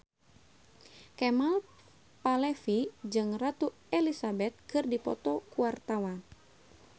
Kemal Palevi jeung Ratu Elizabeth keur dipoto ku wartawan